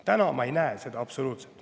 Täna ma ei näe seda absoluutselt.